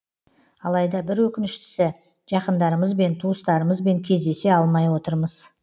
алайда бір өкініштісі жақындарымызбен туыстарымызбен кездесе алмай отырмыз